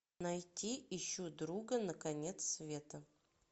найти ищу друга на конец света